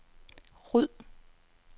ryd